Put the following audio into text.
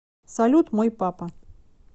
салют мой папа